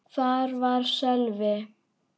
Hvar var Sölvi?